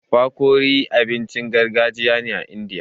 Fakori abincin gargajiya ne a Indiya.